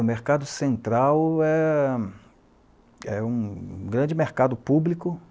O Mercado Central é é um grande mercado público.